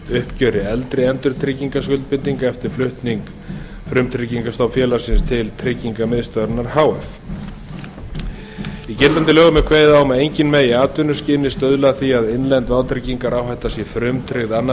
uppgjöri eldri endurtryggingaskuldbindinga eftir flutning frumtryggingastofns félagsins til tryggingamiðstöðvarinnar h f í gildandi lögum er kveðið á um að enginn megi í atvinnuskyni stuðla að því að innlend vátryggingaráhætta sé frumtryggð annars staðar